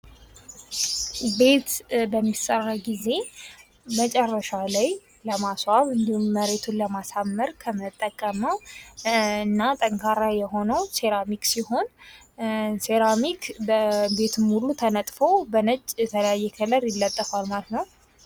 ቤት በሚሰራ ጊዜ መጨረሻ ለማስዋብ እኔዲሁም መሬቱን ለማሳመር ከምንጠቀመዉ እና ጠንካራ የሆኑ ሴራሚክ ሲሆን ሴራሚክ በቤት ሙሉ ተነጥፎ በነጭ የተለያየ ከለር ይለጠፋል ማለት ነዉ።